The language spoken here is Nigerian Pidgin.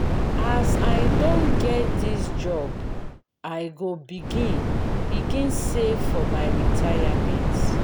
as i don get dis job i go begin begin save for my retirement.